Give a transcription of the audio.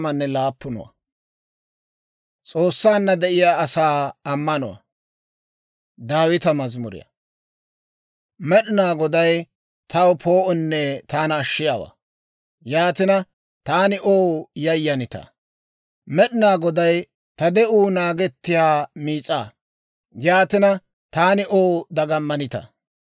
Med'inaa Goday taw poo'onne taana ashshiyaawaa; yaatina, taani ow yayyanitaa? Med'inaa Goday ta de'uu naagettiyaa miis'aa; yaatina, taani ow dagammanitaa?